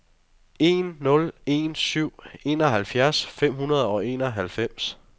en nul en syv enoghalvfjerds fem hundrede og enoghalvfems